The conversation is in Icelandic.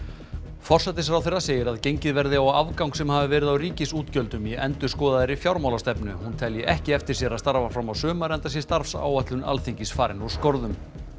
forsætisráðherra segir að gengið verði á afgang sem hafi verið á ríkisútgjöldum í endurskoðaðri fjármálastefnu hún telji ekki eftir sér að starfa fram á sumar enda sé starfsáætlun Alþingis farin úr skorðum